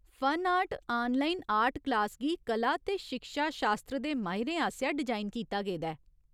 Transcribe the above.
Fun art online art class गी कला ते शिक्षा शास्त्र दे माहिरें आसेआ डिजाइन कीता गेदा ऐ।